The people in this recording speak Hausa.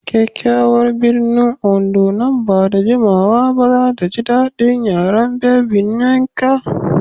Kyakyawar birnin Ondo nan ba da jimawa ba za ta ji daɗin yaren Baby Nneka.